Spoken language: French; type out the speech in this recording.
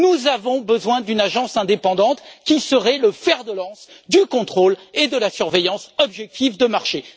Nous avons donc besoin d'une agence indépendante qui serait le fer de lance du contrôle et de la surveillance objective des marchés.